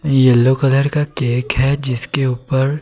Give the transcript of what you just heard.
yellow colour का cake है जिसके उपर--